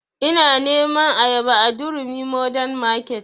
Ina neman ayaba a durumi mordern market